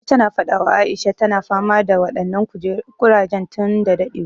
Na ji ta na faɗa wa Aisha, ta na fama da waɗannan ƙurajen tun da daɗewa